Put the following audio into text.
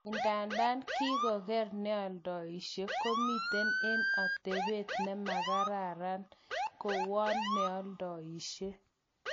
Idadan kinkoker neoldoishe komiten eng otebet nemakaran, kowon neoldoishe .